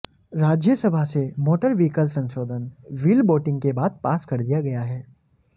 राज्यसभा से motor vehicle संशोधन bill voting के बाद पास कर दिया गया है